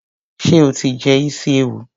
Ṣé o ti jẹ isi ewu?